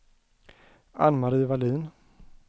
Anne-Marie Wallin